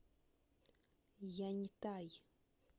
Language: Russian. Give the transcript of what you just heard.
яньтай